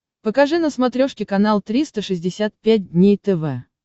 покажи на смотрешке канал триста шестьдесят пять дней тв